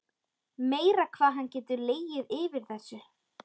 Meira hvað hann getur legið yfir þessu.